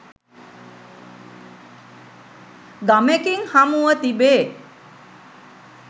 ගමෙකින් හමුව තිබේ